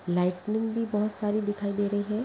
Lightning भी बहुत सारी दिखाई दे रही है।